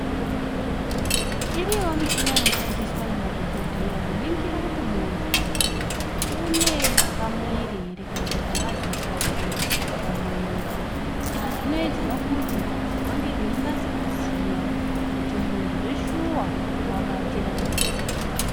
Iriyowo michini inoshandiswa ngemadhogodheya kuningira kuti muntu une pamwiri here kana kuti aazi kubatire pamuwiri, izvi zvinoitirwe kuti vange veinase kuziya kuti muntu zveshuwa wabatira here.